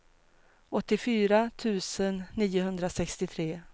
åttiofyra tusen niohundrasextiotre